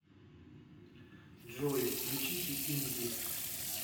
джой включите инди